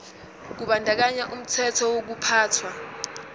kubandakanya umthetho wokuphathwa